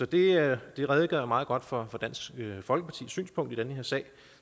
det redegør meget godt for dansk folkepartis synspunkt i den her sag